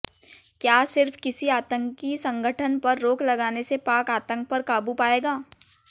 क्या सिर्फ किसी आतंकी संगठन पर रोक लगाने से पाक आतंक पर काबू पाएगा